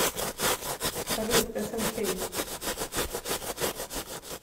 салют эсэнкей